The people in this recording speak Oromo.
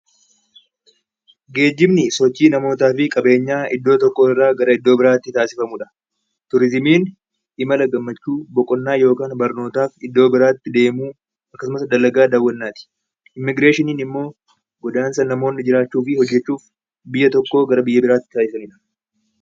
Geejjibni sochii namootaa fi qabeenyaa iddoo tokko irraa gara iddoo biraatti taasifamuu dha. Turizimiin imala gammachuu, boqonnaa yookaan barnootaaf iddoo biraatti deemuu akkasumas dalagaa daawwannaa ti. Immigireeshiniin immoo godaansa namoonni jiraachuu fi hojjechuuf biyya tokkoo gara biyya biraatti taasisanii dha.